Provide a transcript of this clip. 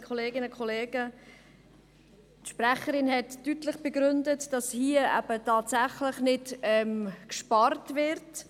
Die Sprecherin hat deutlich begründet, dass hier eben tatsächlich nicht gespart wird.